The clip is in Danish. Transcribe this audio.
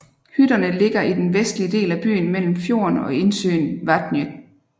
Hytterne ligger i den vestlige del af byen mellem fjorden og indsøen Vatnið